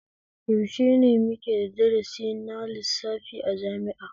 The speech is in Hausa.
Yaushe ne muka da darasi na lissafi a jami'a?